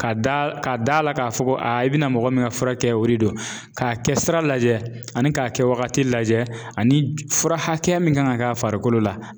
Ka da ka da la k'a fɔ ko i bɛna mɔgɔ min ka furakɛ o de do k'a kɛ sira lajɛ ani k'a kɛ wagati lajɛ ani fura hakɛya min ka kan ka k'a farikolo la.